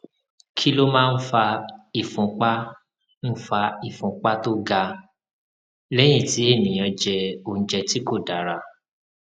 kí ló máa ń fa ìfúnpá ń fa ìfúnpá tó ga lẹyìn tí ènìyàn jẹ oúnjẹ tí kò dára